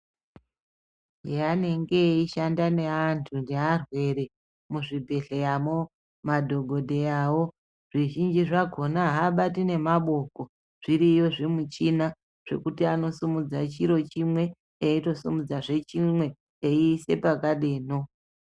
Yavanenge veishanda nevantu nevarwere muzvibhedhleramwo madhokodheyawo zvizhinji zvakona habati nemabuku zvichiyo zvimuchina zvekuti anosimudza chiro chimwe eitosimudza zve chimwe eisa pakadeno.